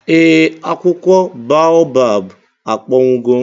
ee, akwụkwọ boabab akpọnwụgo